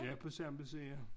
Ja på samme side